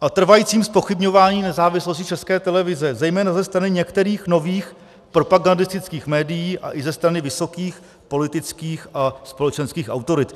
a trvajícím zpochybňování nezávislosti České televize zejména ze strany některých nových propagandistických médií a i ze strany vysokých politických a společenských autorit.